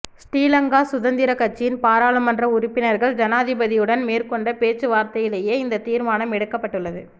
ஶ்ரீலங்கா சுதந்திர கட்சியின் பாராளுமன்ற உறுப்பினர்கள் ஜனாதிபதியுடன் மேற்கொண்ட பேச்சுவார்த்தையிலேயே இந்த தீர்மானம் எடுக்கப்பட்டுள்ளது